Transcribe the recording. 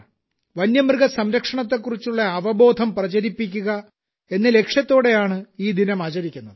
വന്യമൃഗ സംരക്ഷണത്തെക്കുറിച്ചുള്ള അവബോധം പ്രചരിപ്പിക്കുക എന്ന ലക്ഷ്യത്തോടെയാണ് ഈ ദിനം ആചരിക്കുന്നത്